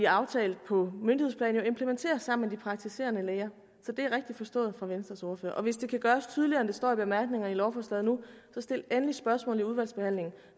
aftalt på myndighedsplan jo implementeres sammen med de praktiserende læger så det er rigtigt forstået af venstres ordfører og hvis det kan gøres tydeligere end det står i bemærkningerne til lovforslaget nu så stil endelig spørgsmål i udvalgsbehandlingen